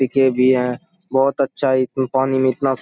टिके भी हैं बहुत अच्छा एकदम पानी में इतना --